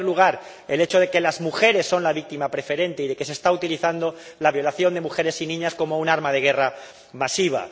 En primer lugar, el hecho de que las mujeres son las víctimas preferentes y de que se está utilizando la violación de mujeres y niñas como un arma de guerra masiva